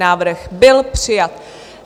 Návrh byl přijat.